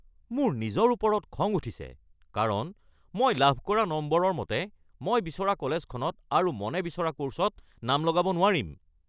মোৰ নিজৰ ওপৰত খং উঠিছে কাৰণ মই লাভ কৰা নম্বৰৰ মতে মই বিচৰা কলেজখনত আৰু মনে বিচৰা ক'ৰ্ছত নাম লগাব নোৱাৰিম৷